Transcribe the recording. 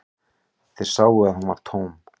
Þeir sáu að hún var tóm.